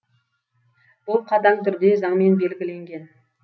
бұл қатаң түрде заңмен белгіленген